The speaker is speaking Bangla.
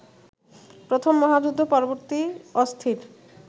প্রথম মহাযুদ্ধ-পরবর্তী অস্থির